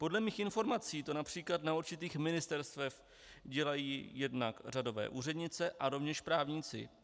Podle mých informací to například na určitých ministerstvech dělají jednak řadové úřednice a rovněž právníci.